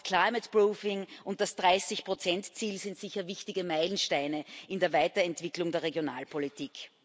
das climate proofing und das 30 Ziel sind sicher wichtige Meilensteine in der Weiterentwicklung der Regionalpolitik.